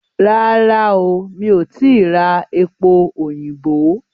Rárá o, mi ò tìí ra epo òyìnbó?